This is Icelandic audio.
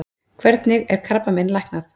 Hvernig er krabbamein læknað?